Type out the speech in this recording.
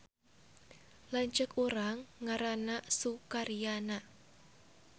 Lanceuk urang ngaranna Sukaryana